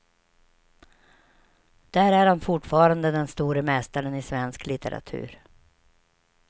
Där är han fortfarande den store mästaren i svensk litteratur.